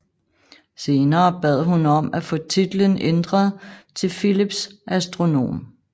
Senere bad hun om at få titlen ændret til Phillips Astronom